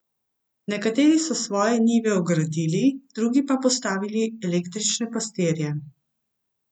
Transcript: Nekateri so svoje njive ogradili, drugi postavili električne pastirje.